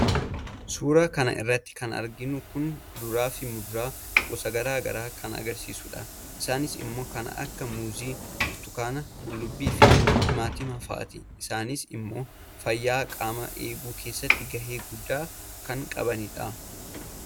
suuraa kan irratti kan arginu kun kuduraa fi muduraa gosa garagaraa kan agarsiisu dha. isaanis immoo kan akka muuzii , burtukaana, qullubbii fi timaatimii faati. isaanis immoo fayyaa qaamaa eeguu keessatti gahee guddaaa kan qabanidha.